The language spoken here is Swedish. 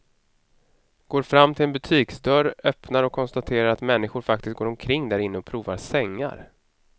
Går fram till en butiksdörr, öppnar och konstaterar att människor faktiskt går omkring därinne och provar sängar.